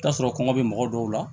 I bi t'a sɔrɔ kɔngɔ be mɔgɔ dɔw la